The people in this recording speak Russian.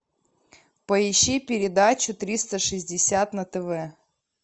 поищи передачу триста шестьдесят на тв